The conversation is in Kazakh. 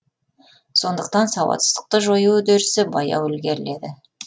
сондықтан сауатсыздықты жою үдерісі баяу ілгеріледі